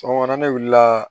Sɔgɔmada ne wulila